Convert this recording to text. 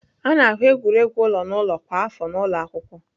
A na-ahụ egwuregwu ụlọ n'ụlọ kwa afọ n'ụlọ akwụkwọ.